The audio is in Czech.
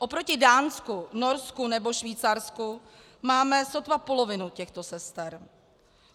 Oproti Dánsku, Norsku nebo Švýcarsku máme sotva polovinu těchto sester.